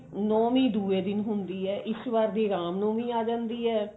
ਨੋਵੀਂ ਦੂਏ ਦਿਨ ਹੁੰਦੀ ਹੈ ਇਸ ਵਾਰ ਦੀ ਰਾਮ ਨੋਵੀਂ ਆ ਜਾਂਦੀ ਹੈ